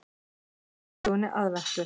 Lesið úr sögunni Aðventu.